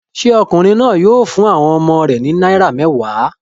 Ṣé ọkùnrin náà yóò fún àwọn ọmọ rẹ̀ ní náírà mẹ́wàá?